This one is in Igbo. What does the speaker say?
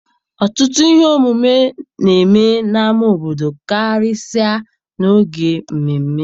Ọtụtụ ihe omume na-eme n'ámá obodo karịsịa n'oge mmemme.